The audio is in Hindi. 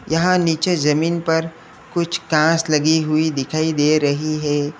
यहां नीचे जमीन पर कुछ कांच लगी हुई दिखाई दे रही है।